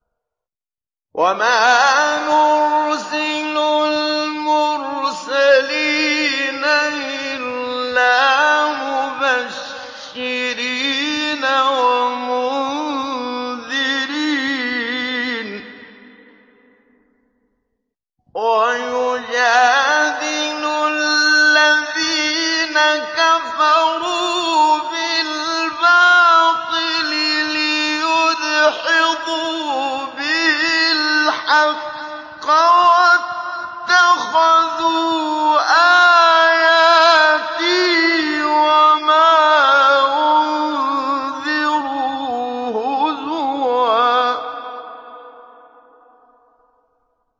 وَمَا نُرْسِلُ الْمُرْسَلِينَ إِلَّا مُبَشِّرِينَ وَمُنذِرِينَ ۚ وَيُجَادِلُ الَّذِينَ كَفَرُوا بِالْبَاطِلِ لِيُدْحِضُوا بِهِ الْحَقَّ ۖ وَاتَّخَذُوا آيَاتِي وَمَا أُنذِرُوا هُزُوًا